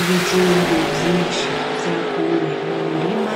Ibijumbu vyinshi vyakuwe mu murima,